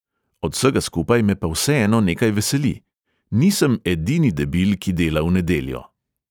Od vsega skupaj me pa vseeno nekaj veseli – nisem edini debil, ki dela v nedeljo.